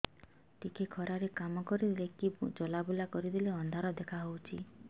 ଟିକେ ଖରା ରେ କାମ କରିଦେଲେ କି ଚଲବୁଲା କରିଦେଲେ ଅନ୍ଧାର ଦେଖା ହଉଚି